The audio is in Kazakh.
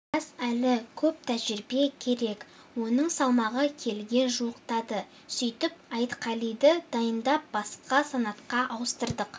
жас әлі көп тәжірибе керек оның салмағы келіге жуықтады сөйтіп айтқалиді дайындап басқа санатқа ауыстырдық